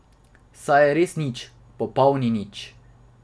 Saj je res nič, popolni nič.